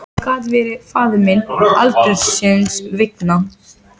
Einhver árstíð á framrúðunni.